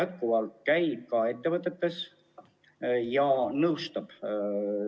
Terviseamet käib neis ettevõtetes ja nõustab neid.